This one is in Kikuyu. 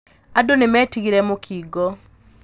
Andũ nĩmetigĩrĩte mũkingo.